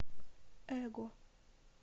эго